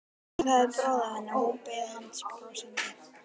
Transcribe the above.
Nokkuð hafði bráð af henni og hún beið hans brosandi.